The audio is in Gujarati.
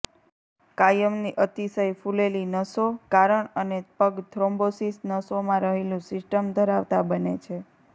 કાયમની અતિશય ફૂલેલી નસો કારણ અને પગ થ્રોમ્બોસિસ નસોમાં રહેલું સિસ્ટમ ધરાવતાં બને છે